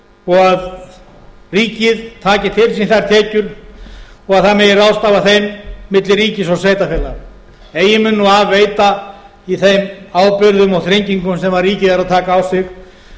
og ríkið taki til sín þær tekjur og það megi ráðstafa þeim milli ríkis og sveitarfélaga eigi mun nú af veita í þeim ábyrgðum og þrengingum sem ríkið er að taka á sig